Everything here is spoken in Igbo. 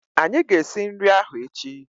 Anyị ga-esi nri ahụ echi